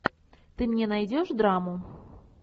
ты мне найдешь драму